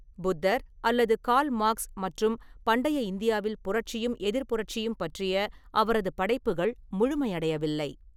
புத்தர் அல்லது Karl Marx மற்றும் "பண்டைய இந்தியாவில் புரட்சியும் எதிர்ப்புரட்சியும்" பற்றிய அவரது படைப்புகள் முழுமையடையவில்லை.